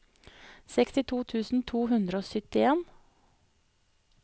sekstito tusen to hundre og syttien